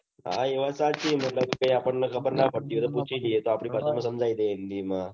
હા એ વાત સાચી મતલબ આપણ ને ખબર ણ પડતી હોય કે પુછીલઈ એ તો આપડી પાસે